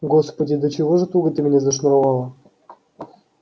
господи до чего ж туго ты меня зашнуровала